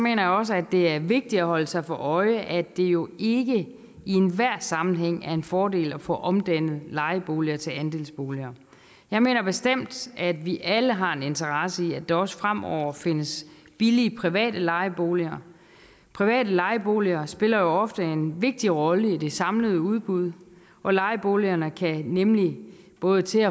jeg også at det er vigtigt at holde sig for øje at det jo ikke i enhver sammenhæng er en fordel at få omdannet lejeboliger til andelsboliger jeg mener bestemt at vi alle har en interesse i at der også fremover findes billige private lejeboliger private lejeboliger spiller ofte en vigtig rolle i det samlede udbud for lejeboligerne kan nemlig både til